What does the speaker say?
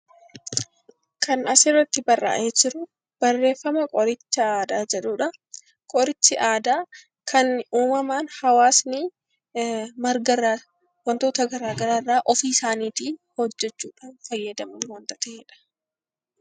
Kan asirratti barraa'ee jiru barreeffama qoricha aadaa jedhudhaa. Qorichi aadaa kan uummamaan hawaasni margarraa wantoota garagaraa irraa ofiii isaaniitiif hojjachuudhaan fayyadamu ta'edha.